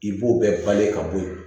I b'o bɛɛ bali ka bɔ ye